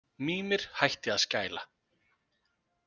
Mímir hætti að skæla.